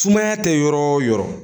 Sumaya tɛ yɔrɔ o yɔrɔ